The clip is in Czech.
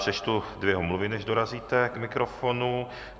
Přečtu dvě omluvy, než dorazíte k mikrofonu.